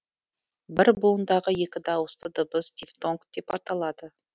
бір буындағы екі дауысты дыбыс дифтонг деп аталады